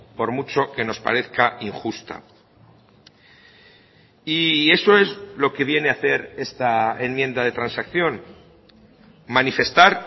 por mucho que nos parezca injusta y eso es lo que viene a hacer esta enmienda de transacción manifestar